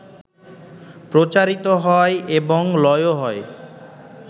প্রচারিত হয় এবং লয়ও হয়